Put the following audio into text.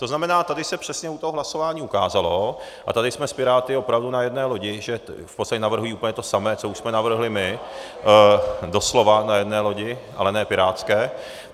To znamená, tady se přesně u toho hlasování ukázalo, a tady jsme s Piráty opravdu na jedné lodi, že v podstatě navrhují úplně to samé, co už jsme navrhli my, doslova na jedné lodi, ale ne pirátské.